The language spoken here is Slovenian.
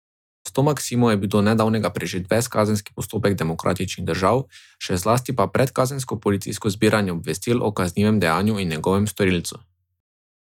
S to maksimo je bil do nedavnega prežet ves kazenski postopek demokratičnih držav, še zlasti pa predkazensko policijsko zbiranje obvestil o kaznivem dejanju in njegovem storilcu.